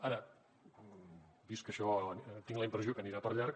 ara vist això tinc la impressió que anirà per llarg